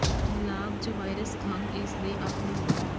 ਲਾਗ ਜ ਵਾਇਰਸ ਖੰਘ ਇਸ ਦੇ ਆਪਣੇ ਗੁਣ ਹਨ